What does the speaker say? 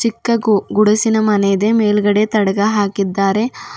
ಕ್ಕ ಗು ಗುಡಿಸಿನ ಮನೆ ಇದೆ ಮೇಲ್ಗಡೆ ತಡ್ಗ ಹಾಕಿದ್ದಾರೆ.